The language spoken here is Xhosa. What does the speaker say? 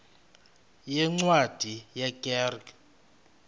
yeencwadi ye kerk